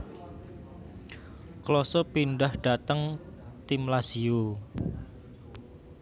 Klose pindhah dhateng tim Lazio